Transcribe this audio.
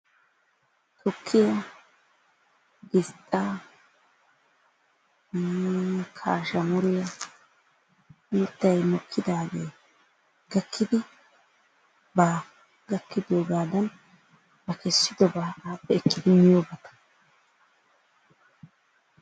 Tukkiya, gisxxa, kaashamuriya mittay mokkidaage gakkidi ba gakkidoogadan ba kessidoba appe ekkidi miyobata.